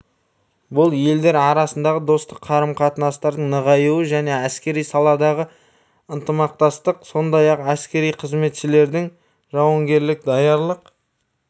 бұл елдер арасындағы достастық қарым-қатынастардың нығаю және әскери саладағы ынтымақтастық сондай-ақ әскери қызметшілердің жауынгерлік даярлық